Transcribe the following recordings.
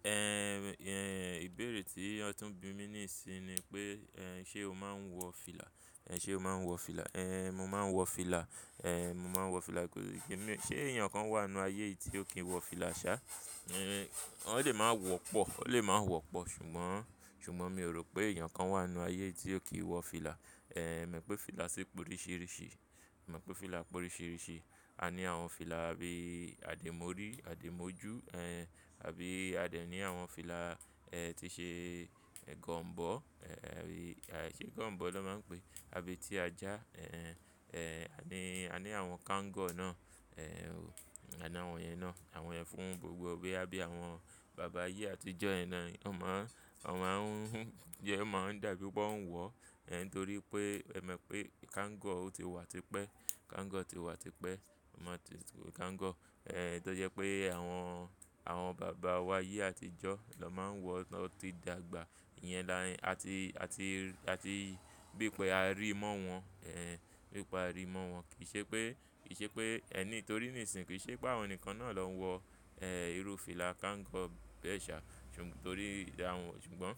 Ehn, ehn, ìbéèrè tí ọ tún bi mí níìsín ni pé, ehn, ṣé o máa ń wọ fìlà? Ehn, ṣé o máa ń wọ fìlà? Ehn, mo máa ń wọ fìlà. Ehn, mo máa ń wọ fìlà. Ṣé èèyàn kan wà nínú ayé yìí tí ó kì í wọ fìlà sá? Ehn, wón lè máa wọ pọ̀. Ó lè máa ń wọ pọ̀ ṣùgbọ́n, ṣùgbọ́n mi ò rò pé èèyàn kan wà nínú ayé yìí tí ó kì í wọ fìlà. Ehn, e mọ̀ pé fìlà sì p'óríṣìríṣi. Èmi mọ̀ pé fìlà póríṣìríṣi. A ní àwọn fìlà bí i àdémọ̀rí, àdémọ̀jú, ehn, àbí a de ní àwọn fìlà, ehn, tí ṣe gọ̀m̀bọ́. Ehn, ṣe bi gọ̀m̀bọ́ lọ́ máa ń pe? Àbetíajá, ehn, ehn, a ní, a ní àwọn kango náà. Ehn, àní àwọn iyen náà. Àwọn iyen fún gbogbo bi àwọn bàbá ayé àtijọ́, yẹn náà, wọn máa ń, wọn máa ń máa ń dà bí i pé wọ́n ń wọ. Ehn, nítorí pé è mọ̀ pé kango o ti wà tipẹ́. Kango ti wà tipẹ́. Kango ehn, to jẹ́ pé àwọn, àwọn bàbá wa ayé àtijọ́ lọ́ máa ń wọ, wọn to ti dàgbà. Ìyẹn la àti, àti, àti bí pé a ríi mọ́ wọn. Ehn, bí i pé a ríi mọ́ wọn. Kìiṣe pé, kì í ṣe pé ẹ nítorí nìsìń, kì í ṣe pé àwọn nìkan náà lọ́ ń wọ, ehn, irú fìlà kango bẹ́ ẹ̀ ṣá. Nítorí àwọn, ṣùgbọ́n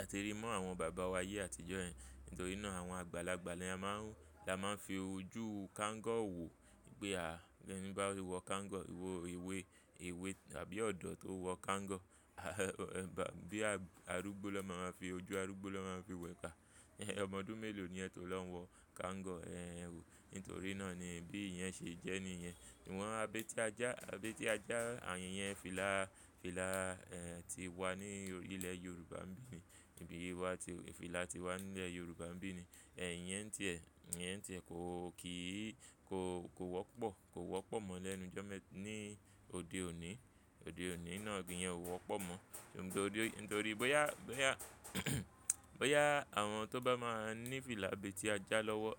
a ti rí i mọ́ àwọn bàbá wa ayé àtijọ́ yẹn. Nítorí náà àwọn àgbàlagbà ni a máa ń, a máa ń fi ojú kango wò. Pe à, ẹni bá wọ kangaroo, ewé, ewé àbí ọ̀dọ́ tó wọ kango. Bíi arúgbó lọ́ máa ma fi, ojú arúgbó lọ́ máa fi wo e a. E, ọmọ ọdún mélòó ni ẹ tó lọ ń wọ kango. Ehn wo, nítorí náà ni bí iyen ṣe jẹ́ ni ìyẹn. Awọ̀n abẹ́ tí ajá, abẹ́ tí ajá, àyìn yẹn fìlà, fìlà, ehn, tí wà ní orí ílẹ̀ Yorùbá n bí ni. Níbi yìí wà tí fìlà ti wà nílẹ̀ Yorùbá bí i. Ehn, ìyẹn ti ẹ, ìyẹn ti ẹ kò kì í, kò, kò wọ́pọ̀. Kò wọ́pọ̀ mọ́ lẹ́nu jọ́ mẹ́, ní òde òní. Òde òní náà iyẹn ò wọ́pọ̀ mọ́ nítorí, nítorí bóyá, bóyá, bóyá àwọn tó bá máa ń ní fìlà abẹ́tíajá lọ́wọ́,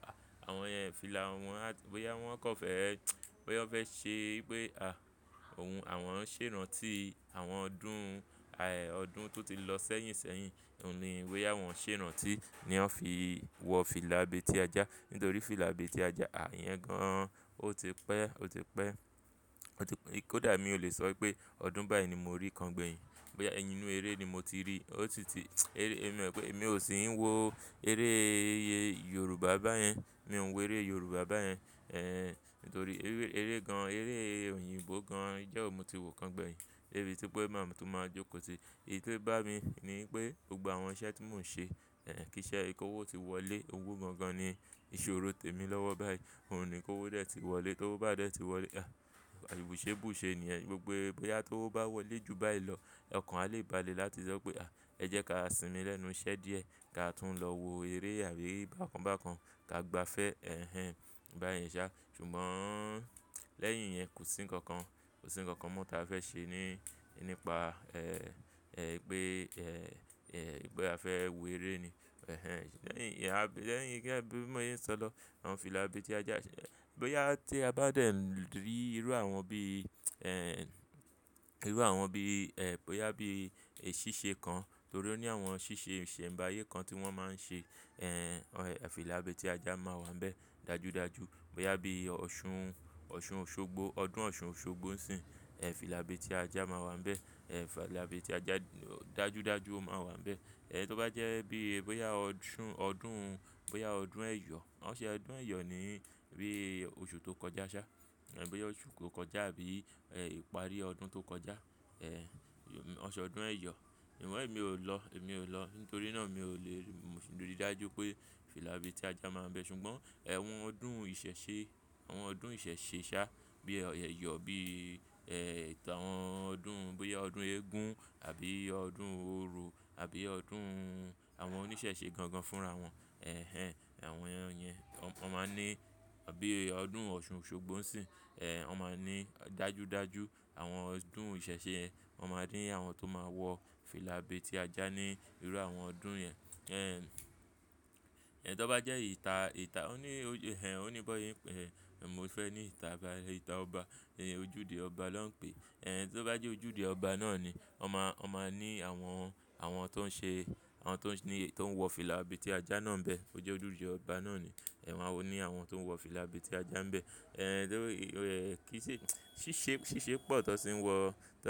àwọn yẹn fìlà wọn, bóyá wọ́n kò fẹ́ ẹ, bóyá wọ́n fẹ́ ṣe pé, à, òun, àwọn ń ṣèràn tí àwọn ọdún, ài ọdún tó ti lọ sẹ́yìn sẹ́yìn, òun ni bóyá wọ́n ṣèràn tí ni wọ́n fi wọ fìlà abẹ́ tí ajá. Nítorí fìlà abẹ́tíajá, iyen gan-an ó ti pẹ́, ó ti pẹ́. Ó ti pé kódà mi ò lè sọ pé ọdún báyìí ni mo rí kan gbẹ̀yìn. Bóyá ẹyinú eré ni mo ti rí. Ó ti ti, èmi mọ̀ pé èmi ò sì ń wo eré Yorùbá báyẹn. Mi ò ń wo eré Yorùbá báyẹn. Ehn, nítorí eré gan, eré òyìnbó gan ijo wo ni mo ti wò kan gbẹ̀yìn. Debi tí pé máa tún máa jókòó tì èyí tó bá mi ni pé gbogbo àwọn iṣẹ́ tí mò ń ṣe, ehn, kí iṣẹ́ ki owó ti wọlé, òwò gangan ni ìṣòro tèmi lọ́wọ́ báyìí. Óun ni kówo dẹ̀ tí wọlé. Tówo bá dẹ̀ tí wọlé, à, àbùse bùse ni yẹn. Gbogbo bóyá tó bá wọlé ju báyìí lọ, ọkàn á lè ba lè láti sọ pé, à, ẹ jẹ́ ká sinmi lẹ́nu iṣẹ́ díẹ̀. Ka tún lọ wo eré àbí bákan bákan ká gba fẹ́, ẹhẹn, báyen ṣá. Ṣùgbọ́n lẹ́yìn ìyẹn kò sí ńkankan, kò sí ńkankan mọ́ tí a fẹ́ ṣe ní, nípa, ẹ, ẹ, pé, ẹ, ẹ, bóyá a fẹ́ wo eré ni. Ehen, lẹ́yìn, ẹ, bí i mòye ń sọ lọ, àwọn fìlà abetí ajá ṣe. Bóyá tí a bá dẹ̀ ń rí irú àwọn bí i, ehn, irú àwọn bí i, ẹ, bóyá bí i ṣíṣe kan, torí ó ní àwọn ṣíṣe ìsẹ̀mbáyé kan tí wọ́n máa ń ṣe. Ehn, fìlà abetí ajá máa wà nbẹ̀ dájúdájú. Bóyá bí i ọ̀ṣun, ọ̀ṣun Òṣogbo, ọdún Ọ̀ṣun Òṣogbo ń sìn. Ehn, fìlà abẹ́ tí ajá máa wà níbẹ̀. Ehn, fìlà abetí ajá dájúdájú ó máa wà níbẹ̀. Ehn, tó bá jẹ́ bí i bóyá ọ̀ṣun, ọdún, bóyá ọdún ẹ̀yọ̀. Wọ́n ṣe ọdún ẹ̀yọ̀ ní bí i oṣù tó kọjá ṣá. Ehn, bóyá oṣù tó kọjá àbí ìparí ọdún tó kọjá. Ehn, won se ọdún ẹ̀yọ̀. Ṣùgbọ́n èmi ò lọ, èmi ò lọ. Nítorí náà mi ò lè rí, mo sì rí dájú pé fìlà abetí ajá máa wà níbẹ̀. Ṣùgbọ́n, ẹ́h, àwọn ọdún ìṣẹ̀ṣe, àwọn ọdún ìṣẹ̀ṣe ṣá bí i ẹ̀yọ̀, bí i, ẹ, àwọn ọdún, bóyá ọdún eégún àbí ọdún oro àbí ọdún àwọn oníṣẹ̀ṣe gangan fúnra wọn. Ehen, àwọn ẹyin, wọ́n máa ní, àbí ọdún Ọ̀ṣun Òṣogbo ń sìn. Ehn, wọ́n máa ní dájúdájú àwọn ọdún ìṣẹ̀ṣe, wọ́n máa ní àwọn tó máa wọ fìlà abetí ajá ní irú àwọn ọdún yẹn. Ehn, tó bá jẹ́ ìta, ìta, ó ní, ẹ, ó ní bóyá ìpè, èmi ò fẹ́ ní ìta, ìta ọba. Ojúde ọba ló ń pè é. Ehn, tó bá jẹ́ ojúde ọba náà ni, wọ́n máa, wọ́n máa ní àwọn, àwọn tó ń ṣe, àwọn tó ń ní, tó ń wọ fìlà abẹ́ tí ajá náà níbẹ̀. Ó jẹ́ ojúde ọba náà ni. Ehn, wọ́n ó ní àwọn tó ń wọ fìlà abetí ajá nbẹ̀. Ehn, nítorí, ẹ, kí í ṣe, ṣíṣe, ṣíṣe pọ̀ tó sì ń wọ, tó sì.